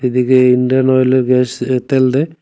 এদিকে ইন্ডিয়ান ওয়েলের গ্যাস এ তেল দেয়।